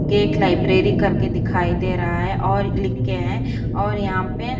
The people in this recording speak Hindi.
गेट लाइब्रेरी करके दिखाई दे रहा है और लिक्के हैं और यहाँ पे --